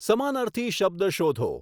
સમાનર્થી શબ્દ શોધો